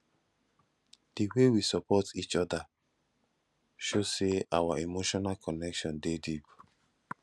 di way we support each other show say our emotional connection dey deep